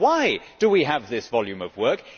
Why do we have this volume of work?